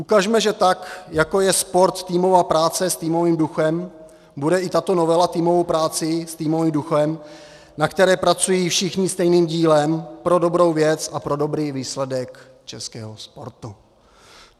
Ukažme, že tak jako je sport týmová práce s týmovým duchem, bude i tato novela týmovou prací s týmovým duchem, na které pracují všichni stejným dílem pro dobrou věc a pro dobrý výsledek českého sportu.